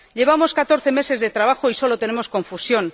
Llevamos 14 meses de trabajo y sólo tenemos confusión.